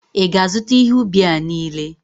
ị ga-azụta ihe ubi a niile?